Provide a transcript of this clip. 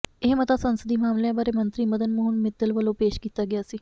ਇਹ ਮਤਾ ਸੰਸਦੀ ਮਾਮਲਿਆਂ ਬਾਰੇ ਮੰਤਰੀ ਮਦਨ ਮੋਹਨ ਮਿੱਤਲ ਵੱਲੋਂ ਪੇਸ਼ ਕੀਤਾ ਗਿਆ ਸੀ